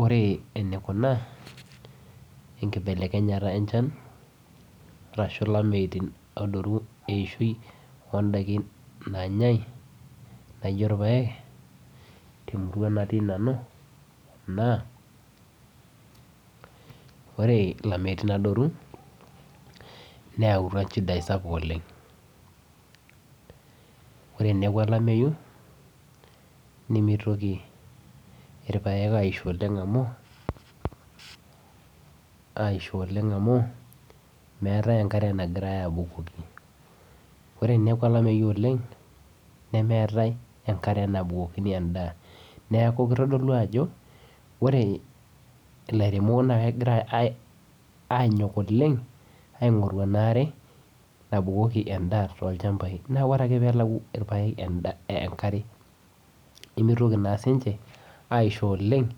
Ore enikuna enkibelekenyata enchan arashu eishoi oondaikin naanyai nijio irpaek temurua natii nanu naa ore ilameyutin adoru neyautua inchidai sapuk oleng' ore eneeku olameyu nemitoki irpaek asiho oleng' amu meetae enkare nagirai aabukoki ore eneeku olameyu oleng' neeku nemeetae enkare nabukokini endaa neeku kitodolu ajo ore ilairemok naa kegira aanyok oleng' aing'oru ena are nabukoki endaa tolchambai naa ore ake pee elau irpaek enkare naa mitoki naa siinche aisho oleng'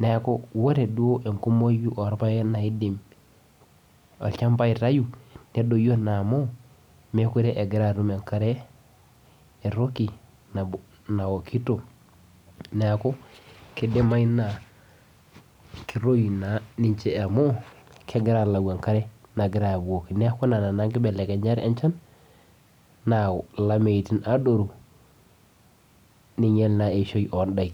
neeku ore duo enkumoi orpaek naidim olchamba aitayu nedoyio naa amu meekure egira atum enkare etoki naokito neeku kidimayu naa ketoyu naa niche kegira aalau enchan nabukokini olchamba